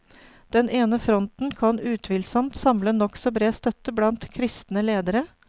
Den ene fronten kan utvilsomt samle nokså bred støtte blant kristne ledere.